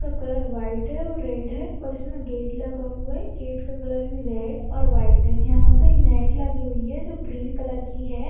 का colour white है red है और इसमे गेट लगा हुआ है। गेट का कलर भी रेड और व्हाइट है। यहाँ पे नेट लगी हुई है जो ग्रीन कलर की है।